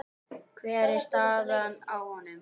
Hver er staðan á honum?